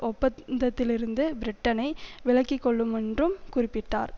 ஒப்பந்தத்திலிருந்து பிரிட்டனை விலக்கிக்கொள்ளுமென்றும் குறிப்பிட்டார்